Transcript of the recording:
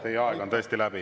Teie aeg on tõesti läbi.